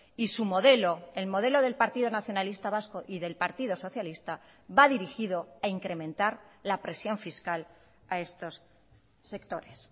y su modelo el modelo del partido nacionalista vasco y del partido socialista va dirigido a incrementar la presión fiscal a estos sectores